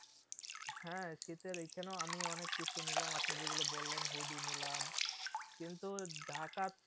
হ্যাঁ শীতের এইখানেও আমি অনেক কিছু নিলাম আপনি যেগুলো বললেন hoodie নিলাম কিন্তু ঢাকা